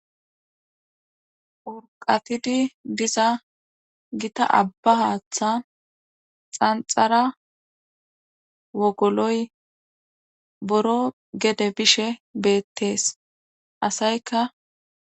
wurqatidi diza gita abba haaththa xanxara wogoloy boro gede bishe beettees asayka